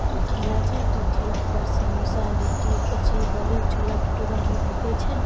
इ ठेला छै और इ ठेला पर समोसा लिट्टी कचड़ी बड़ी छोला-भटूरा भी बिके छै।